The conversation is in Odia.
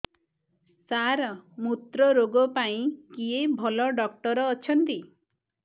ସାର ମୁତ୍ରରୋଗ ପାଇଁ କିଏ ଭଲ ଡକ୍ଟର ଅଛନ୍ତି